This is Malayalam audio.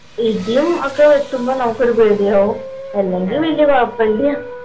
ഇടിയും ഒക്കെ വെട്ടുമ്പോ നമ്മുക്കൊരു പേടിയാവും അല്ലെങ്കി വല്യ കൊഴപ്പല്ല